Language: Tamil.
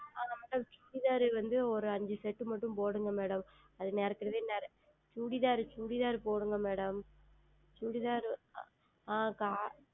ஆமாம் Chudithar வந்து ஓர் ஐந்து Set மட்டும் போடுங்கள் Madam அது ஏற்கனவே ChuditharChudithar போடுங்கள் MadamChudithar ஆஹ்